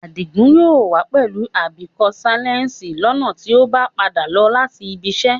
Adìgún yóò wà pẹ̀lú bíkọ́mṣèlẹ̀sì lọ́na tì o bá n padà bọ̀ láti ìbìṣẹ